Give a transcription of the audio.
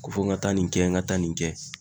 Ko fɔ n ga taa nin kɛ n ga taa nin kɛ